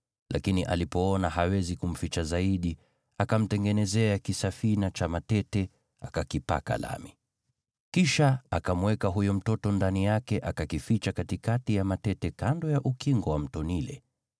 Lakini alipoona hawezi kumficha zaidi, akamtengenezea kisafina cha mafunjo, akakipaka lami. Kisha akamweka huyo mtoto ndani yake, akakificha katikati ya matete kando ya ukingo wa Mto Naili.